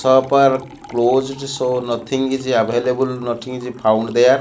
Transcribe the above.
shop are closed so nothing is available nothing is found there.